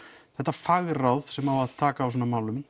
fagráð sem á að taka á svona málum